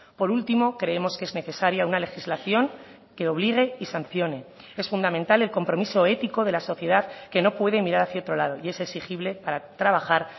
por último creemos que es necesaria una legislación que obligue y sancione es fundamental el compromiso ético de la sociedad que no puede mirar hacia otro lado y es exigible para trabajar